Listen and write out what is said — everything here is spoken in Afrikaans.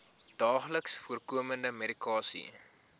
daagliks voorkomende medikasie